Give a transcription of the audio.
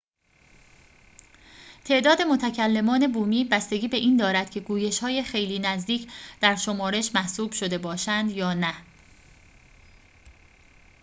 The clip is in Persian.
تعداد متکلمان بومی بستگی به این دارد که گویش‌های خیلی نزدیک در شمارش محسوب شده باشند یا نه